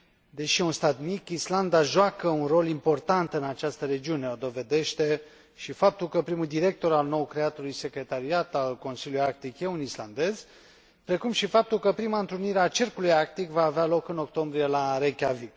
Deși un stat mic, Islanda joacă un rol important în această regiune o dovedește și faptul că primul director al nou creatului Secretariat al Consiliului Arctic este un islandez, precum și faptul că prima întrunire a Cercului Arctic va avea loc în octombrie, la Reykjavík.